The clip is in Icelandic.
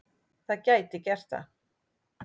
Það gæti gert það.